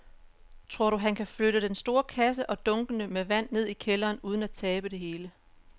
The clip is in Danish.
Tror du, at han kan flytte den store kasse og dunkene med vand ned i kælderen uden at tabe det hele?